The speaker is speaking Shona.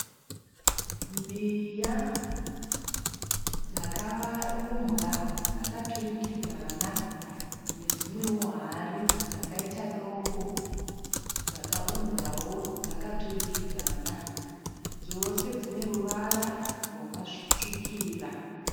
Mbiya dzakaumbwa dzakaturikidzana nedzimwewo hari dzakaita doko dzakaumbwawo dzakaturikidzana. Dzose dzine ruvara rwakatsvukira.